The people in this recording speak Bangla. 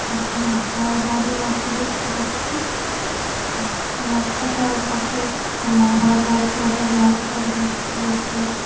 পাশে অনেক ঘরবাড়ি আছে দেখতে পাচ্ছি। উম রাস্তাটার পাশে একটা মাঠও আছে তাতে গাছ টাছ ভর্তি দেখতে পাচ্ছি--